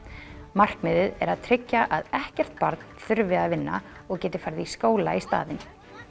markmiðið er að tryggja að ekkert barn þurfi að vinna og geti farið í skóla í staðinn